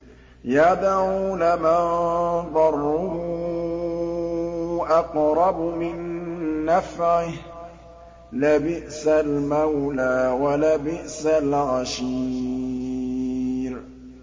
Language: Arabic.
يَدْعُو لَمَن ضَرُّهُ أَقْرَبُ مِن نَّفْعِهِ ۚ لَبِئْسَ الْمَوْلَىٰ وَلَبِئْسَ الْعَشِيرُ